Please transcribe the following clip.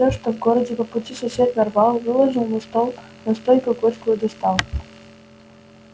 всё что в городе по пути сосед нарвал выложил на стол настойку горькую достал